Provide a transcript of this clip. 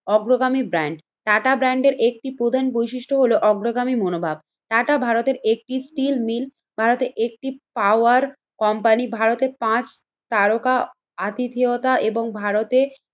অগ্রগামী ব্র্যান্ড, টাটা ব্র্যান্ডের একটি প্রধান বৈশিষ্ট্য হলো অগ্রগামী মনোভাব। টাটা ভারতের একটি স্টিল মিল, ভারতে একটিপাওয়ার কোম্পানি, ভারতে পাঁচ তারকা আতিথেয়তা এবং ভারতে